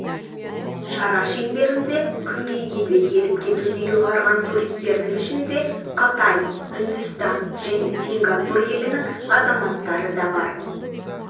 шара шеңберінде күнгейге де келіп-кетуді ұйғарған туристердің ішінде қытай үндістан және сингапур елінің азаматтары да